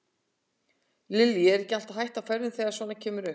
Lillý: Er ekki alltaf hætta á ferðum þegar að svona kemur upp?